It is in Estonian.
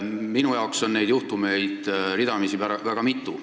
Minu jaoks on neid juhtumeid ridamisi olnud väga mitu.